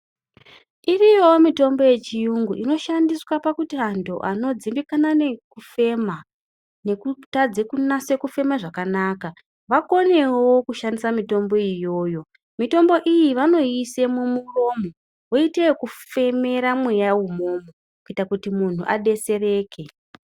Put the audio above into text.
Iriyo mitombo ye chiyungu inoshandiswa pakuti antu anodzimbikana ne kufema neku tadze kunase kufema zvakanaka vakonewo kushandisa mitombo iyoyo mitombo iyi vanoise mu muromo woite yeku femera mweya imomo kuti muntu adetsereke.